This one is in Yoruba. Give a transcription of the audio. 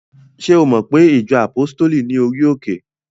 Ṣé o mo pe ìjọ àpọ́stéli ní orí òkè?